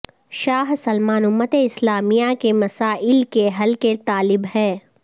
شاہ Salman امت اسلامیہ کے مسائل کے حل کے طالب ہیں